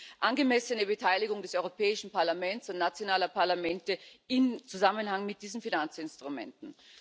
um die angemessene Beteiligung des Europäischen Parlaments und nationaler Parlamente in Zusammenhang mit diesen Finanzinstrumenten.